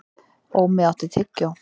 Ómi, áttu tyggjó?